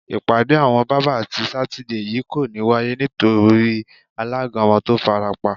Ìpàdé àwo̩n bábà ti Sátidé yìí kò ní wáyé nítorí alága wo̩n tó farapa